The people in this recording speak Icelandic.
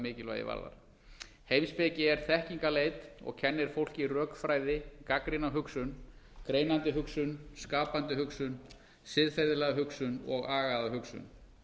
mikilvægi varðar heimspeki er þekkingarleit og kennir fólki rökfræði gagnrýna hugsun greinandi hugsun skapandi hugsun siðferðilega hugsun og agaða hugsun